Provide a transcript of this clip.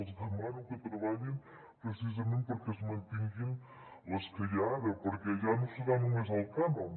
els demano que treballin precisament perquè es mantinguin les que hi ha ara perquè ja no serà només el cànon